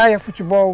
Praia, futebol.